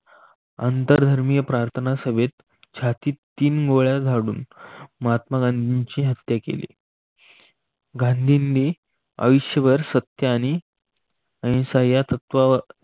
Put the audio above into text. अंतर धर्मीय प्रार्थना सभेत छाती तीन गोळ्या झाडून महात्मा गांधींचे हत्या केली. गांधींनी आयुष्यभर सत्य आणि अहिंसा या तत्त्वाचा